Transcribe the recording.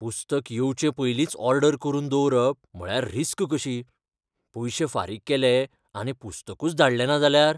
पुस्तक येवचे पयलींच ऑर्डर करून दवरप म्हळ्यार रिस्क कशी. पयशे फारीक केले आनी पुस्तकूच धाडलें ना जाल्यार?